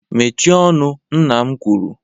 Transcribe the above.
Mechie ọnụ nna m kwuru.